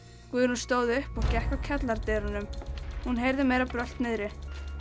Guðrún stóð upp og gekk að kjallaradyrunum hún heyrði meira brölt niðri